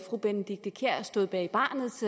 fru benedikte kiær stod bag barnets